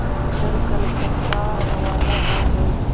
कर कलकत्ता रवाना हो गए